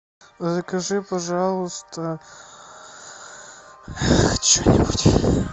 закажи пожалуйста че нибудь